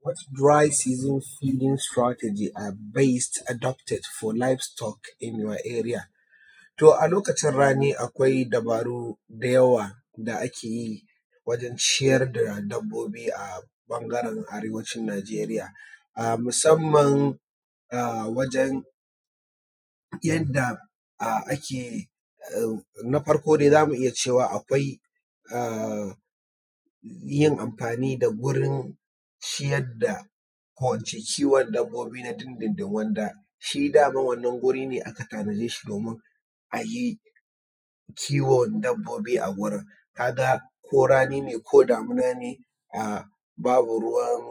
What dry season season strategies are best adopted for livestock in your area? To a lokacin rani akwai dubaru da yawa da ake yi wajen ciyar da dabbobi a ɓangaren arewacin Najeriya musamman wajan yanda ake yi. Na farko dai zamu iya cewa akwai yin amfani da gurin kiwon dabbobi na din din din, wanda shi daman wannan guri ne aka tanade shi domin a yi kiwon dabobi a gurin. Ka ga ko rani ne, ko damina ne, babu ruwan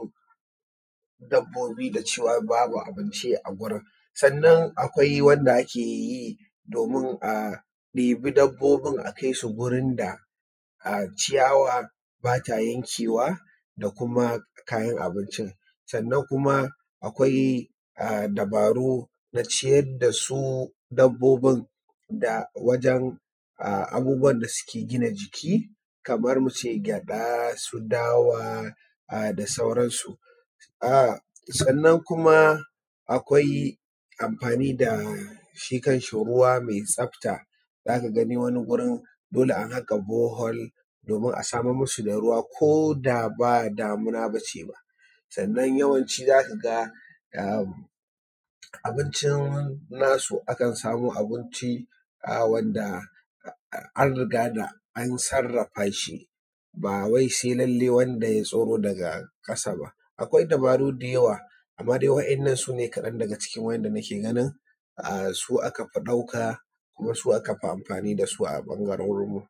dabbobi da cewa babu abinci a gurin. Sannan akwai wanda ake yi domin a ɗebi dabbobin a kai su gurin da ciyawa ba ta yankewa da kuma kayan abincin. Sannan kuma akwai dabaru na ciyar da su dabbobin da wajan abubuwan da suke gina jiki kamar mu ce gyaɗa su dawa da sauransu. Sannan kuma akwai amfani da shi kan shi ruwa mai tsafta, za ka ga wani gurin dole an haƙa bore hole domin a samar musu da ruwa koda ba damuna ba ce ba, sannan yawanci za ka ga abincin nasu akan samo abinci wanda an riga da an sarrafa shi ba wai sai lallai wanda ya tsiro daga ƙasa ba. akwai dabaru da yawa amma dai wa’innan sune kaɗan daga cikin wa'inda na ke ganin su aka fi ɗauka, ko su aka fi amfani da su a ɓangarorin mu.